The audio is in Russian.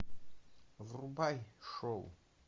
врубай шоу